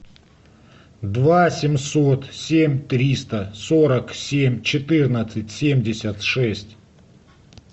два семьсот семь триста сорок семь четырнадцать семьдесят шесть